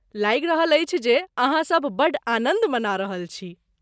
लागि रहल अछि जे अहाँसभ बड्ड आनन्द मना रहल छी।